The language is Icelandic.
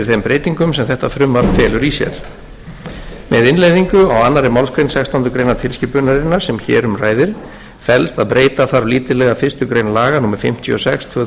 breytingum sem þetta frumvarp felur í sér með innleiðingu á annarri málsgrein sextándu grein tilskipunarinnar sem hér um ræðir felst að breyta þarf lítillega fyrstu grein laga númer fimmtíu og sex tvö